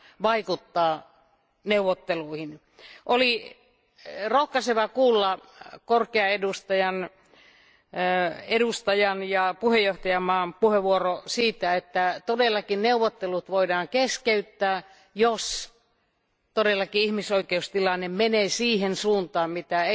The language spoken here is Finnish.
vaikuttaa neuvotteluihin. Oli rohkaisevaa kuulla korkean edustajan ja puheenjohtajavaltion puheenvuoro siitä, että todellakin neuvottelut voidaan keskeyttää, jos todellakin ihmisoikeustilanne menee siihen suuntaan, mitä